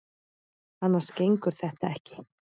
Annars gengur þetta ekki.